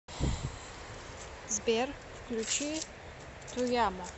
сбер включи туямо